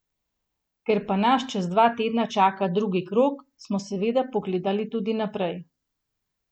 Ker pa nas čez dva tedna čaka drugi krog, smo seveda pogledali tudi naprej.